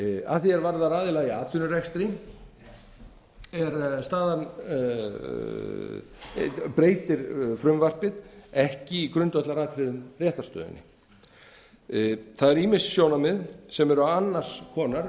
að því er varðar aðila í atvinnurekstri breytir frumvarpið ekki í grundvallaratriðum réttarstöðunni það eru ýmis sjónarmið sem eru annars konar